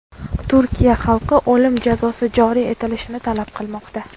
Turkiya xalqi o‘lim jazosi joriy etilishini talab qilmoqda.